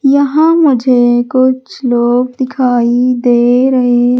यहां मुझे कुछ लोग दिखाई दे रहे--